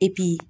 Epi